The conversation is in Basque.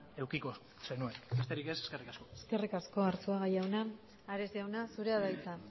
edukiko zenuen besterik ez eskerrik asko eskerrik asko arzuaga jauna ares jauna zurea da hitza